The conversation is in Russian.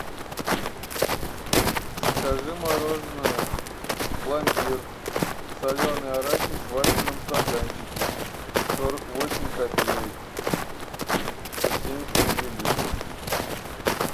закажи мороженое пломбир соленый арахис в вафельном стаканчике сорок восемь копеек сто семьдесят миллилитров